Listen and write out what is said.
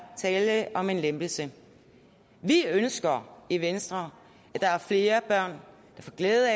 tale om en lempelse vi ønsker i venstre at der er flere børn der får glæde